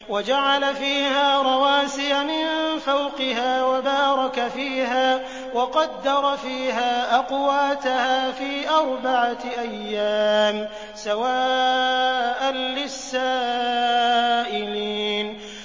وَجَعَلَ فِيهَا رَوَاسِيَ مِن فَوْقِهَا وَبَارَكَ فِيهَا وَقَدَّرَ فِيهَا أَقْوَاتَهَا فِي أَرْبَعَةِ أَيَّامٍ سَوَاءً لِّلسَّائِلِينَ